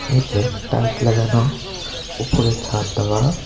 নীচে টাইলস লাগানো উপরে ছাদ দেওয়া।